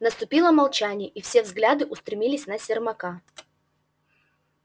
наступило молчание и все взгляды устремились на сермака